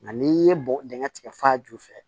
Nka n'i ye bɔgɔ dingɛ tigɛ fa ju fɛ